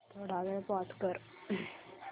थोडा वेळ पॉझ कर